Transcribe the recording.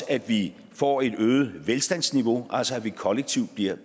at vi får et øget velstandsniveau altså at vi kollektivt bliver